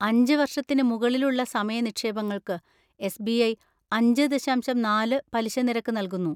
അഞ്ച്‌ വർഷത്തിന് മുകളിലുള്ള സമയ നിക്ഷേപങ്ങൾക്ക് എസ്.ബി.ഐ. അഞ്ച് ദശാംശം നാല് പലിശ നിരക്ക് നൽകുന്നു.